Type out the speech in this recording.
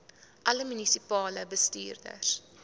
alle munisipale bestuurders